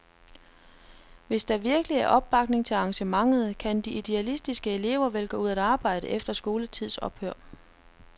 Hvis der virkelig er opbakning til arrangementet, kan de idealistiske elever vel gå ud at arbejde efter skoletids ophør.